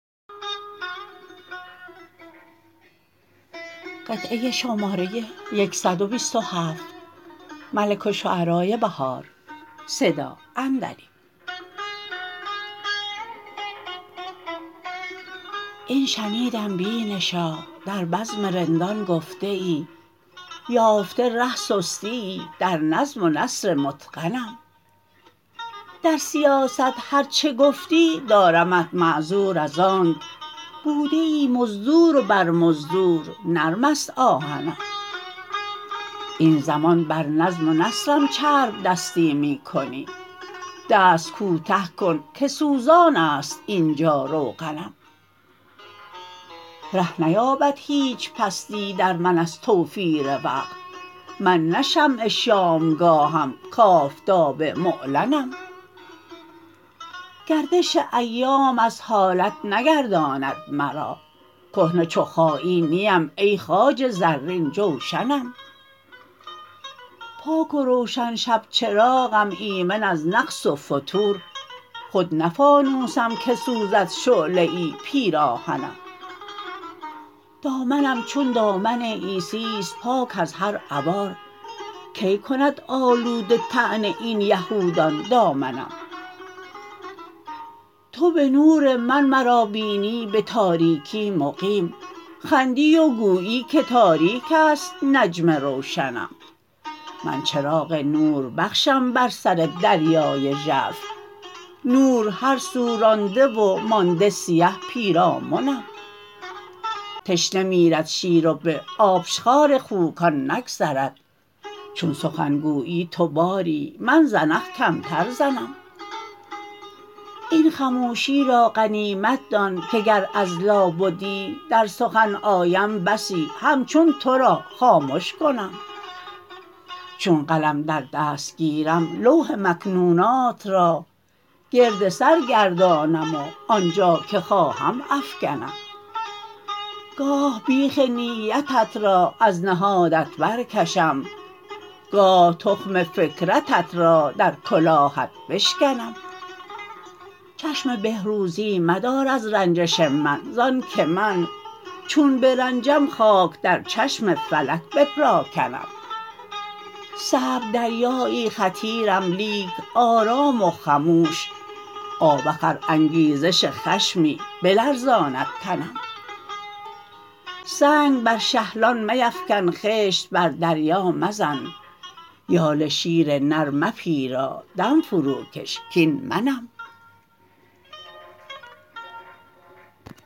این شنیدم بینشا در بزم رندان گفته ای یافته ره سستییی در نظم و نثر متقنم در سیاست هرچه گفتی دارمت معذور از آنک بوده ای مزدور و بر مزدور نرم است آهنم این زمان بر نظم و نثرم چرب دستی می کنی دست کوته کن که سوزانست اینجا روغنم ره نیابد هیچ پستی در من از توفیر وقت من نه شمع شامگاهم کآفتاب معلنم گردش ایام از حالت نگرداند مرا کهنه چو خایی نیم ای خواجه زرین جوشنم پاک و روشن شبچراغم ایمن از نقص و فتور خود نه فانوسم که سوزد شعله ای پیراهنم دامنم چون دامن عیسی است پاک از هر عوار کی کند آلوده طعن این یهودان دامنم تو به نور من مرا بینی به تاریکی مقیم خندی و گویی که تاریک است نجم روشنم من چراغ نوربخشم بر سر دریای ژرف نور هر سو رانده و مانده سیه پیرامنم تشنه میرد شیر و به آبشخوار خوکان نگذرد چون سخن گویی تو باری من زنخ کمتر زنم این خموشی را غنیمت دان که گر از لابدی در سخن آیم بسی همچون تو را خامش کنم چون قلم در دست گیرم لوح مکنونات را گرد سرگردانم و آنجا که خواهم افکنم گاه بیخ نیتت را از نهادت برکشم گاه تخم فکرتت را درکلاهت بشکنم چشم بهروزی مدار از رنجش من زان که من چون برنجم خاک در چشم فلک بپراکنم صعب دریایی خطیرم لیک آرام و خموش آوخ ار انگیزش خشمی بلرزاند تنم سنگ بر شهلان میفکن خشت بر دریا مزن یال شیر نر مپیرا دم فروکش کاین منم